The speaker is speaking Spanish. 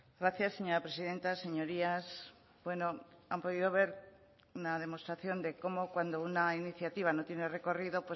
gracias señora presidenta señorías bueno han podido ver una demostración de cómo cuando una iniciativa no tiene recorrido